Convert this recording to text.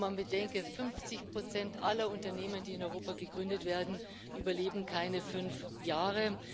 Und man bedenke 50 Prozent aller Unternehmen, die in Europa gegründet werden, überleben keine fünf Jahre.